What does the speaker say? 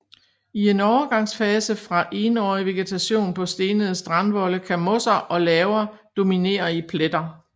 I en overgangsfase fra Enårig vegetation på stenede strandvolde kan mosser og laver dominere i pletter